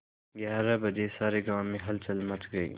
ग्यारह बजे सारे गाँव में हलचल मच गई